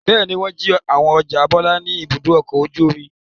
Bẹ́ẹ̀ ni, wọ́n jí àwọn ọjà Bọ́lá ní Ibùdó-ọkọ̀ ojú-omi.